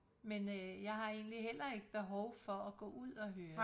Men øh jeg har egentlig heller ikke behov for at gå ud og høre det